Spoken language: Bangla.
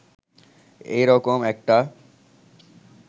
এই রকম একটা